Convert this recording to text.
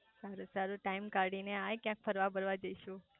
સારું સારું ટાઈમ કાઢી ને આય ક્યાંક ફરવા બરવા જઈશું